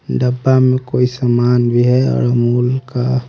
डब्बा में कोई सामान भी है और अमूल का--